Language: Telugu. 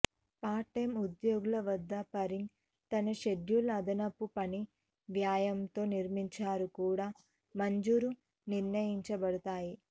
పార్ట్ టైమ్ ఉద్యోగుల వద్ద పరింగ్ తన షెడ్యూల్ అదనపు పని వ్యయంతో నిర్మించారు కూడా మంజూరు నిర్ణయించబడతాయి